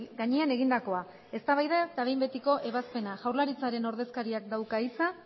gainean egindakoa eztabaida eta behin betiko ebazpena jaurlaritzaren ordezkariak dauka hitza